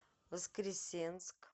воскресенск